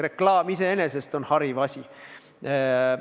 Reklaam iseenesest on hariv asi.